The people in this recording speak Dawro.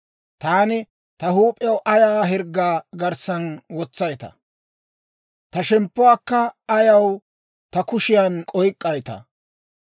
Taani ta huup'iyaa ayaw hirggaa garssan wotsaytaa? Ta shemppuwaakka ayaw ta kushiyaan oyk'k'aytaa?